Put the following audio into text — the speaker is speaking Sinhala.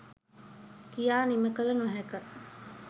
කියා නිම කළ නොහැක.